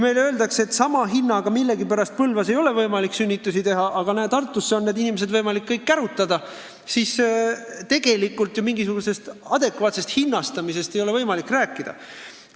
Meile öeldakse, et sama hinnaga millegipärast Põlvas ei ole võimalik sünnitusi vastu võtta, aga Tartusse on need inimesed võimalik kõik kärutada – nii et mingisugusest adekvaatsest hinnastamisest ei ole tegelikult alust rääkida.